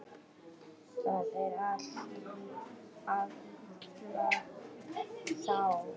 Það er í allra þágu.